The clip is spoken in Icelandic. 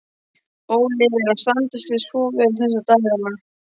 Óli er að standa sig svo vel þessa dagana.